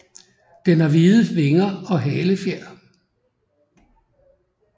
Den har hvide vinger og halefjer